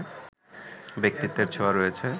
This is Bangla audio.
ব্যক্তিত্বের ছোঁয়া রয়েছে